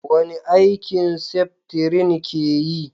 wani aiki seftrin ke yi?